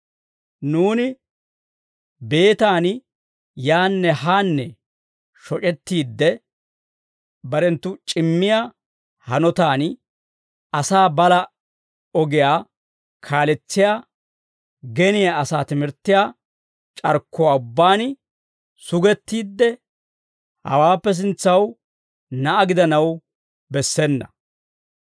Nuuni beetan yaanne haanne shoc'ettiide, barenttu c'immiyaa hanotaan asaa balaa ogiyaa kaaletsiyaa geniyaa asaa timirttiyaa c'arkkuwaa ubbaan sugettiidde, hawaappe sintsaw na'aa gidanaw bessena.